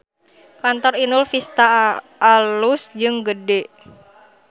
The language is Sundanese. Kantor Inul Vista alus jeung gede